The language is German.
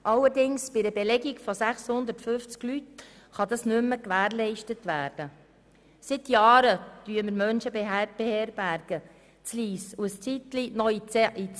Allerdings kann dies bei einer Belegung in der Grössenordnung von bis zu 650 Menschen kaum mehr gewährleistet werden.